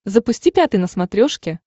запусти пятый на смотрешке